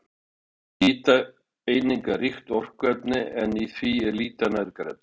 Áfengi er hitaeiningaríkt orkuefni en í því er lítið af næringarefnum.